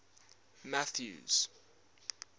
mathews